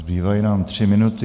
Zbývají nám tři minuty.